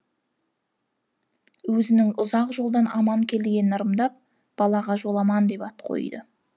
өзінің ұзақ жолдан аман келгенін ырымдап балаға жоламан деп ат қойды